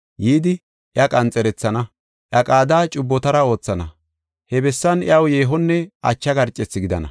yidi iya qanxerethana. Iya qaada cubbotara oothana. He bessan iyaw yeehonne ache garcethi gidana.